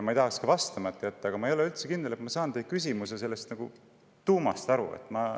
Ma ei tahaks ka vastamata jätta, aga ma ei ole üldse kindel, et ma saan teie küsimuse tuumast aru.